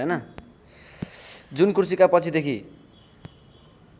जुन कुर्सीका पछिदेखि